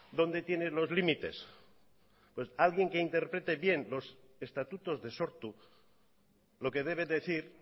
dónde tiene los límites pues alguien que interprete bien los estatutos de sortu lo que debe decir